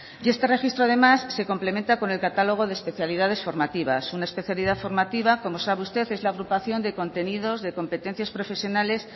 y este registro además se complementa con el catálogo de especialidades formativas una especialidad formativa como sabe usted es la agrupación de contenidos de competencias profesionales